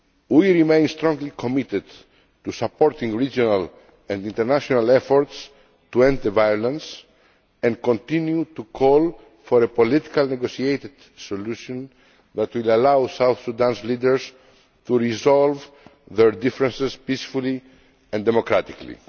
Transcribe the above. We remain strongly committed to supporting regional and international efforts to end the violence, and we continue to call for a politically negotiated solution that will allow South Sudan's leaders to resolve their differences peacefully and democratically.